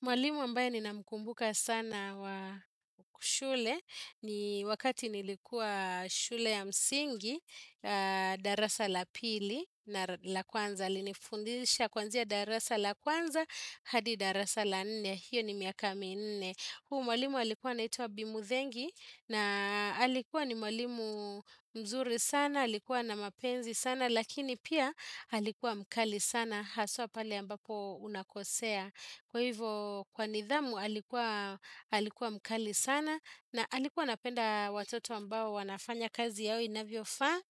Mwalimu ambayo ni na mkumbuka sana wa kushule, ni wakati nilikuwa shule ya msingi, darasa la pili na la kwanza, linifundisha kwanzia darasa la kwanza, hadi darasa la nene, hiyo ni miakami nene. Huu mwalimu alikuwa naituwa bimuthengi, na alikuwa ni mwalimu mzuri sana, alikuwa na mapenzi sana, lakini pia alikuwa mkali sana, haswa pale ambapo unakosea. Kwa hivyo kwa nidhamu alikuwa mkali sana na alikuwa napenda watoto ambao wanafanya kazi yao inabiofaa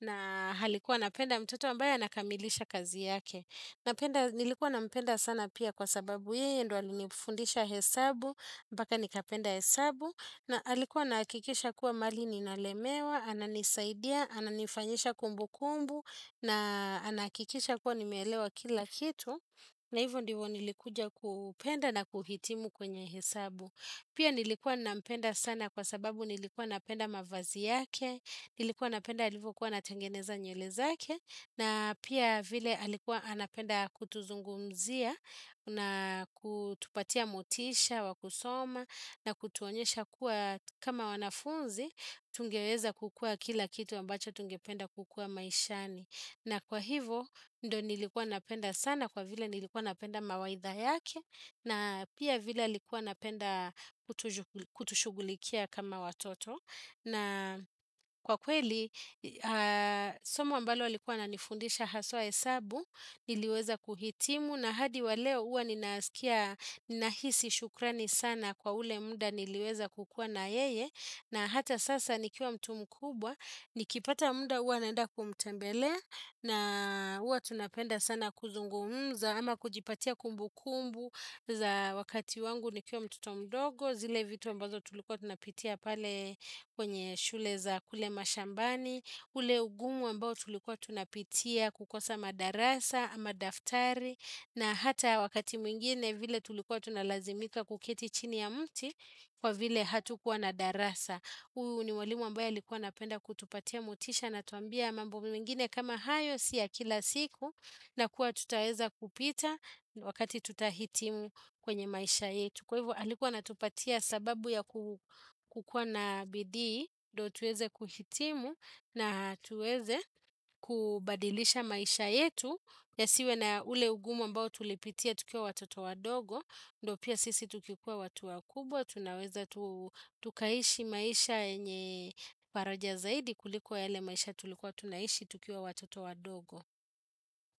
na halikuwa napenda mtoto ambayo anakamilisha kazi yake. Nilikuwa nampenda sana pia kwa sababu yei ndo alinifundisha hesabu mpaka nikapenda hesabu na alikuwa nakikisha kuwa mali ninalemewa, ananisaidia, ananifanyisha kumbu kumbu na anakikisha kuwa nimelewa kila kitu. Na hivo ndivo nilikuja kupenda na kuhitimu kwenye hesabu Pia nilikuwa nampenda sana kwa sababu nilikuwa napenda mavazi yake Nilikuwa napenda halivu kuwa natangeneza nywele zake na pia vile halikuwa napenda kutuzungumzia na kutupatia motisha, wakusoma na kutuonyesha kuwa kama wanafunzi Tungereza kukua kila kitu ambacho tungependa kukua maishani na kwa hivo, ndo nilikuwa napenda sana kwa vila nilikuwa napenda mawaitha yake, na pia vila likuwa napenda kutushugulikia kama watoto. Na kwa kweli, somo ambalo likuwa na nifundisha haswa hesabu, niliweza kuhitimu, na hadi waleo uwa nahisi shukrani sana kwa ule munda niliweza kukua na yeye. Na hata sasa nikiwa mtu mkubwa, nikipata muda uwa naenda kumutembele na uwa tunapenda sana kuzungumza ama kujipatia kumbu kumbu za wakati wangu nikiwa mtoto mdogo, zile vitu ambazo tulikuwa tunapitia pale kwenye shule za kule mashambani, ule ugumu ambao tulikuwa tunapitia kukosa madarasa ama daftari na hata wakati mwingine vile tulikuwa tunalazimika kuketi chini ya mti kwa vile hatu kuwa nadarasa. Huu ni wali ambaya likuwa napenda kutupatia mutisha na tuambia mambo mwingine kama hayo siya kila siku na kuwa tutaeza kupita wakati tutahitimu kwenye maisha yetu. Kwa hivyo alikuwa natupatia sababu ya kukua na bidi ndip tueze kuhitimu na tuweze kubadilisha maisha yetu ya siwe na ule ugumo mbao tulipitia tukiwa watoto wa dogo, ndo pia sisi tukikuwa watu wa kubwa, tunaweza tukaishi maisha enye paroja zaidi kulikuwa ele maisha tulikuwa tunaishi tukiwa watoto wa dogo.